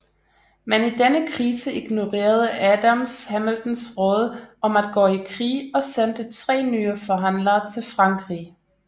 Men i denne krise ignorerede Adams Hamiltons råd om at gå i krig og sendte tre nye forhandlere til Frankrig